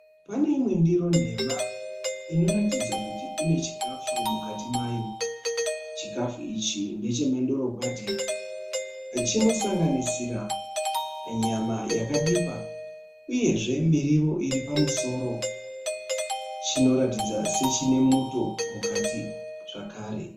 Pane imwe ndiro nhema ino ratidza kuti ine chikafu mukati mayo. Chikafu ichi ndechemandorokwati. Chinosanganisira nyama yakabikwa uyezve miriwo iri pamusoro. Chinoratidza sechine muto mukati zvakare.